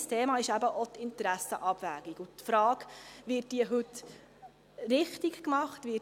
Ein Thema ist eben auch die Interessenabwägung und die Frage, ob diese heute richtig gemacht wird.